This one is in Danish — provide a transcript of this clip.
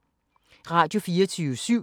Radio24syv